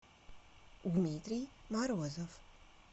дмитрий морозов